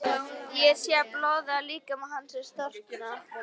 Ég sé að blóðið á líkama hans er storknað.